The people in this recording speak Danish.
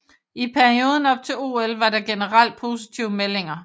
I perioden op til OL var der generelt positive meldinger